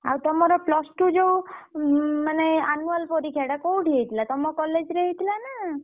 ଆଉ ତମର plus two ଯୋଉ ମାନେ annual ପରୀକ୍ଷା ଟା କୋଉଠି ହେଇଥିଲା ତମ college ରେ ହେଇଥିଲା ନା?